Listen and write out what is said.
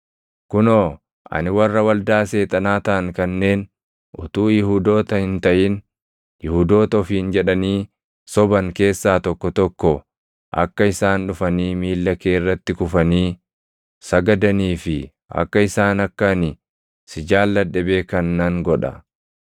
Kunoo, ani warra waldaa Seexanaa taʼan kanneen utuu Yihuudoota hin taʼin Yihuudoota ofiin jedhanii soban keessaa tokko tokko akka isaan dhufanii miilla kee irratti kufanii sagadanii fi akka isaan akka ani si jaalladhe beekan nan godha.